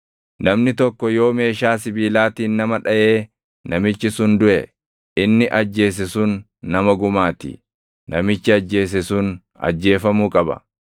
“ ‘Namni tokko yoo meeshaa sibiilaatiin nama dhaʼee namichi sun duʼe, inni ajjeese sun nama gumaa ti; namichi ajjeese sun ajjeefamuu qaba.